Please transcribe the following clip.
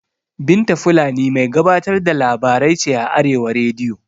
Binta fulani mai gabatar da labarai ce a arewa rediyo